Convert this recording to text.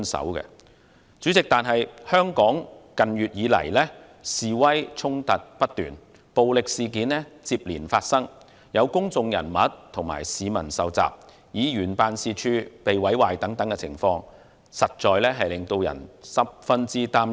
然而，主席，香港近月以來示威衝突不斷，暴力事件接連發生，有公眾人物和市民受襲，也有議員辦事處遭人毀壞，種種情況，實在令人十分擔憂。